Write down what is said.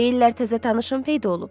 Deyirlər təzə tanışın peyda olub?